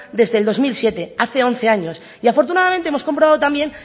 desde el dos mil siete hace once años y afortunadamente hemos comprobado también